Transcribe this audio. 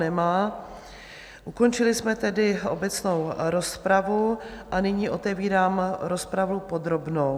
Nemá, ukončili jsme tedy obecnou rozpravu a nyní otevírám rozpravu podrobnou.